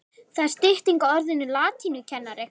Það er stytting á orðinu latínukennari.